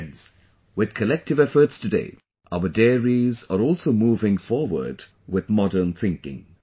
Friends, with collective efforts today, our dairies are also moving forward with modern thinking